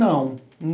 Não.